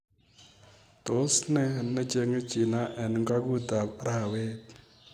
Tos ne cheng'e China eng' ung'atut ab ab arawet?